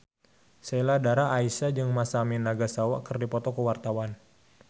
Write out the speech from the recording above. Sheila Dara Aisha jeung Masami Nagasawa keur dipoto ku wartawan